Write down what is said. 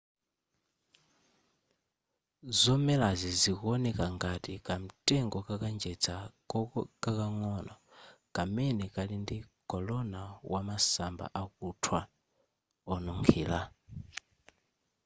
zomelazi zikuoneka ngati kamtengo ka kanjedza kakang'ono kamene kali ndi korona wa masamba akuthwa onunkhira